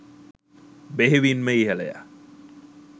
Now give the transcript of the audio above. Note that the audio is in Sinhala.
බෙහෙවින්ම ඉහළය.